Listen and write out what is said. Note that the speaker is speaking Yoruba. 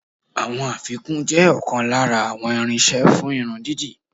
Àwọn afikún jẹ́ ọ̀kan lára àwọn irinṣẹ́ fún irun dídì.